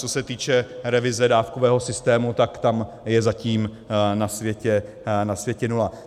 Co se týče revize dávkového systému, tak tam je zatím na světě nula.